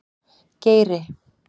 Geiri